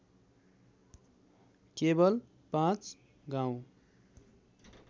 केवल पाँच गाउँ